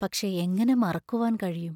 പക്ഷേ, എങ്ങനെ മറക്കുവാൻ കഴിയും?